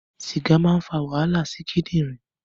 Sìgà máa ń fà wàhálà sí kindirin